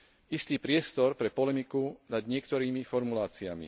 istý priestor pre polemiku nad niektorými formuláciami.